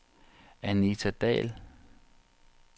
Anita Dall